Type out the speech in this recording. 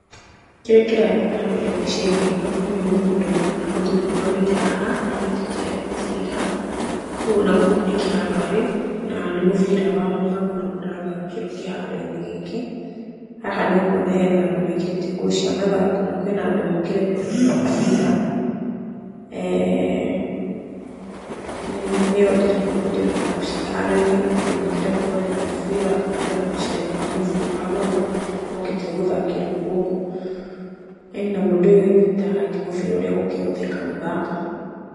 Kĩrĩa kĩrathiĩ na mbere mbica-inĩ ĩno, ũyũ nĩ mũndũ kana mũthuri ũrũgamĩte haha anyitĩte mũbira, na gũkũ nĩ kĩharo arĩ na nĩ mũbira wa magũrũ ũrathakĩrwo kĩharo-inĩ gĩkĩ, haha nĩ ũkuona hena andũ mekĩrĩte nguo cia mathako na kwĩna andũ mokire kwĩrorera mũbira, nĩkĩo ndĩrona kĩharo-inĩ andũ mokire kwĩrorera mũbira kana kwĩna macindano ma mũbira wa magũrũ, mokĩte gũthakĩrwo gũkũ na hena mũndũ ũnyitĩte mũbira ũrĩa ũgũkĩhũthĩka gũthaka